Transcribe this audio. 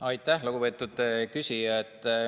Aitäh, lugupeetud küsija!